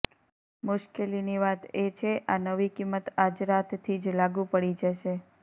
મુશ્કેલીની વાત એ છે આ નવી કિંમત આજ રાતથી જ લાગુ પડી જશે